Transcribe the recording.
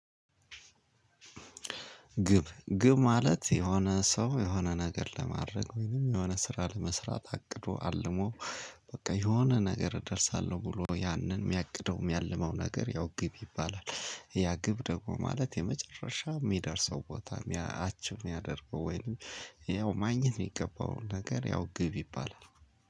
ግብ ግብ ማለት የሆነ ሰው የሆነ ነገር ለማድረግ ወይንም የሆነ ስራ ለመስራት አቅዶ አልሞ በቃ የሆነ ነገር እደርሳለሁ ብሎ ያንን የሚያቅደውም የሚያልመው ነገር ያው ግብ ይባላል። ያ ግብ ደግሞ ማለት የመጨረሻ የሚደርሰው ቦታ አችቭ የሚያደርገው ወይንም ያው ማግኘት የሚገባው ነገር ያው ግብ ይባላል።